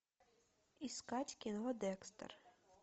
искать кино декстер